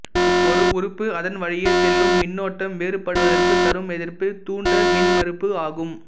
ஒரு உறுப்பு அதன் வழியே செல்லும் மின்னோட்டம் வேறுபடுவதற்குத் தரும் எதிர்ப்பு தூண்ட மின்மறுப்பு ஆகும்